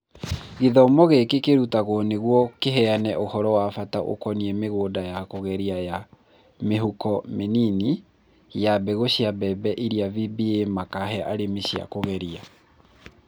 Gĩthomo gĩkĩ kĩrutagwo nĩguo kĩheyane ũhoro wa bata ũkoniĩ mĩgũnda ya kũgereria na "mĩhuko mĩnini" ya mbegũ cia mbembe iria VBA makahe arĩmi cia kũgeria.